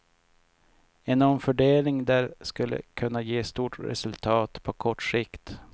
En omfördelning där skulle kunna ge stort resultat på kort sikt.